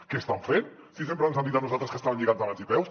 què estan fent si sempre ens han dit a nosaltres que estaven lligats de mans i peus